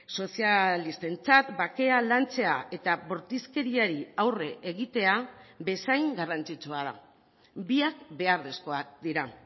sozialistentzat bakea lantzea eta bortizkeriari aurre egitea bezain garrantzitsua da biak beharrezkoak dira